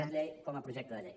decret com a projecte de llei